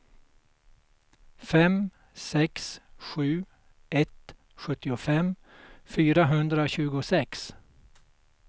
fem sex sju ett sjuttiofem fyrahundratjugosex